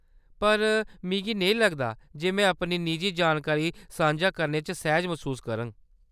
पर मिगी नेईं लगदा जे में अपनी निजी जानकारी सांझा करने च सैह्ज मसूस करङ।